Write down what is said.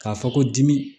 K'a fɔ ko dimi